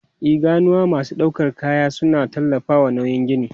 E, ganuwa masu ɗaukar kaya suna tallafawa nauyin gini.